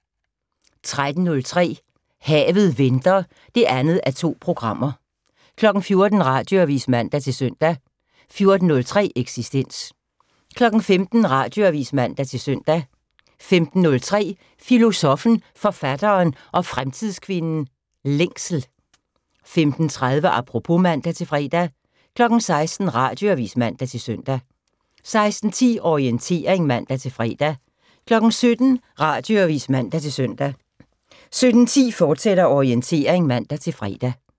13:03: Havet venter (2:2) 14:00: Radioavis (man-søn) 14:03: Eksistens 15:00: Radioavis (man-søn) 15:03: Filosoffen, Forfatteren og Fremtidskvinden - Længsel 15:30: Apropos (man-fre) 16:00: Radioavis (man-søn) 16:10: Orientering (man-fre) 17:00: Radioavis (man-søn) 17:10: Orientering, fortsat (man-fre)